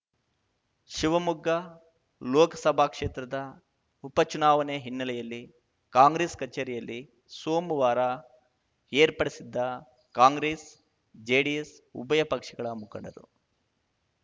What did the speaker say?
ಶಿವಮೊಗ್ಗ ಲೋಕಸಭಾ ಕ್ಷೇತ್ರದ ಉಪಚುನಾವಣೆ ಹಿನ್ನೆಲೆಯಲ್ಲಿ ಕಾಂಗ್ರೆಸ್‌ ಕಚೇರಿಯಲ್ಲಿ ಸೋಮವಾರ ಏರ್ಪಡಿಸಿದ್ದ ಕಾಂಗ್ರೆಸ್‌ಜೆಡಿಎಸ್‌ ಉಭಯ ಪಕ್ಷಗಳ ಮುಖಂಡರು